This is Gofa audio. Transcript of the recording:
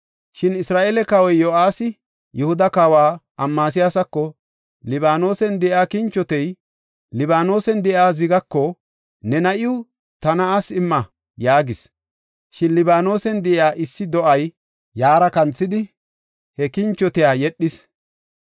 Shin Isra7eele kawoy Yo7aasi, Yihuda kawa Amasiyaasako, “Libaanosen de7iya kinchotey, Libaanosen de7iya zigaako, ‘Ne na7iw ta na7aas imma’ yaagis. Shin Libaanosen de7iya issi do7ay yaara kanthidi, he kinchotiya yedhis.